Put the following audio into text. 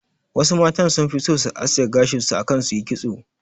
Wasu matan sun fi so su aske gashin su akan su yi kitso